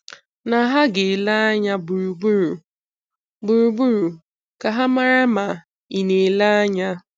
um Ha ga-ele anya gburugburu gburugburu ka ha mara ma ị na-ele anya.